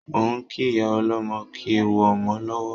Mo ń kí ìyá ọlọ́mọ kú ewu ọmọ lọ́wọ́